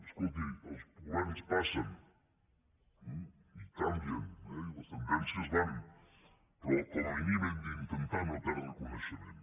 escolti els governs passen i canvien eh i les tendències van però com a mínim hem d’in·tentar no perdre coneixement